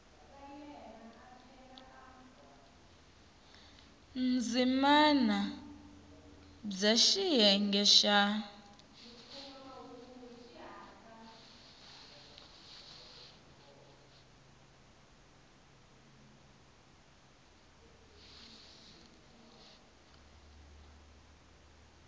ndzimana b ya xiyenge xa